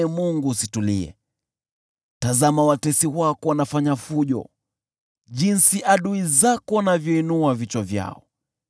Tazama watesi wako wanafanya fujo, jinsi adui zako wanavyoinua vichwa vyao.